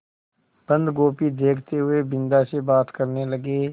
बन्दगोभी देखते हुए बिन्दा से बात करने लगे